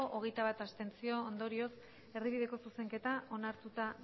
hogeita bat abstentzio ondorioz erdibideko zuzenketa onartutako